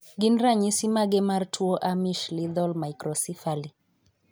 Gin ranyisi mage mar tuo Amish lethal microcephaly?